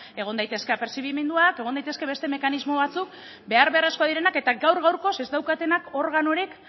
egon daitezke apertzibimenduak egon daitezke beste mekanismo batzuk behar beharrezkoak direnak eta gaur gaurkoz ez daukatenak organorik